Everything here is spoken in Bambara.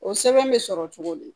O sɛbɛn bɛ sɔrɔ cogo di